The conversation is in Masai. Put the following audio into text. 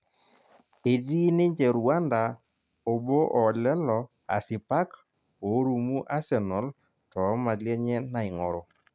Etii ninje Rwanda obo oo lelo asipak orumu Asenal too mali enye naing'oru